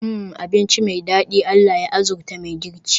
Hmmm! Abinci me dadi, Allah ya arzuta mai girki